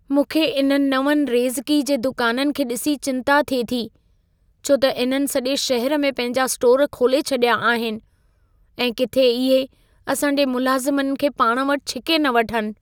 मूंखे इन्हनि नवनि रेज़िकी जे दुकाननि खे डि॒सी चिंता थिए थी, छो त इन्हनि सॼे शहर में पंहिंजा स्टोर खोले छॾिया आहिनि ऐं किथे इहे असांजे मुलाज़मनि खे पाण वटि छिके न वठनि।